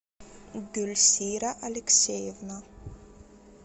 дульсира алексеевна